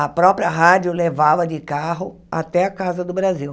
A própria rádio levava de carro até a casa do Brasil.